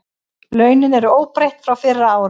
Launin eru óbreytt frá fyrra ári